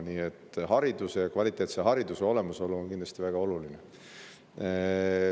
Nii et hariduse, kvaliteetse hariduse olemasolu on kindlasti väga oluline.